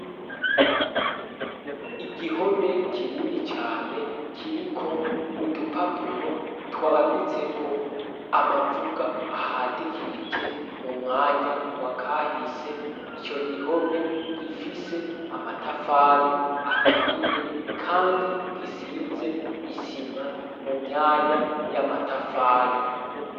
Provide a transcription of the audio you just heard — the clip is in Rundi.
Igihome kinini cane kiri ko udupapuro twanditseko amavuga ahadikirije mu mwanya wa kahise ico gihome gifise amatafali aturiye, kandi gisize isi ma mu myanya y'a matafali.